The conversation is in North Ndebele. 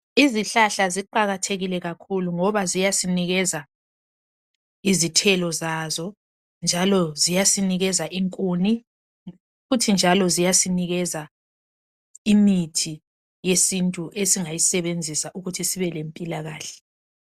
Izihlahla ziqakathekile kakhulu ngoba ziyasinikeza izithelo zazo njalo ziyasinikeza inkuni futhi njalo ziyasinikeza imithi yesintu esingayisebenzisa ukuthi sibelempilakahle.